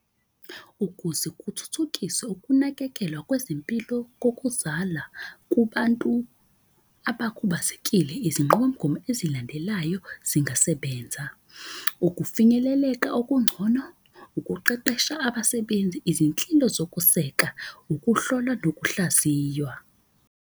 Ukuze kuthuthukiswe ukunakekelwa kwezempilo kokuzala kubantu abakhubazekile. Izinqubomgomo ezilandelayo zingasebenza. Ukufinyeleleka okungcono ukuqeqesha abasebenzi, izinhlilo zokuseka, ukuhlolwa, nokuhlaziywa.